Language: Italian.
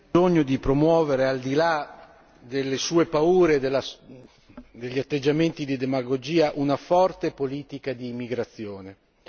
L'Europa ha bisogno di promuovere, al di là delle sue paure e degli atteggiamenti di demagogia, una forte politica d'immigrazione.